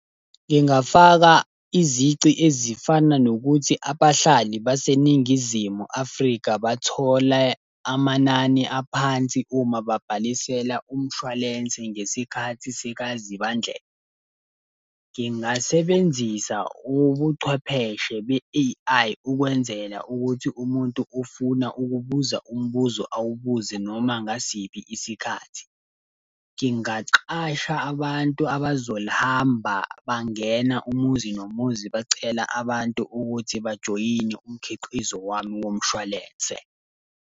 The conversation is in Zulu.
Ngingafaka izici ezifana nokuthi abahlali baseNingizimu Afrika bathole amanani aphansi uma babhalisele umshwalense ngesikhathi sikaZibandlela. Ngingasebenzisa ubuchwepheshe be-A_I ukwenzela ukuthi umuntu ofuna ukubuza umbuzo awubuze noma ngasiphi isikhathi. Ngingaqasha abantu abazolihamba bangena umuzi nomuzi bacela abantu ukuthi bajoyine umkhiqizo wami womshwalense.